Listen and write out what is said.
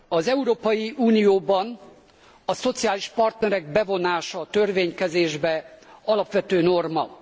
Az Európai Unióban a szociális partnerek bevonása a törvénykezésbe alapvető norma.